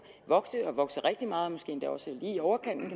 vokse og vokse rigtig meget måske endda også lige i overkanten